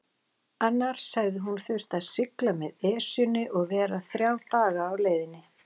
Annars hefði hún þurft að sigla með Esjunni og vera þrjá daga á leiðinni.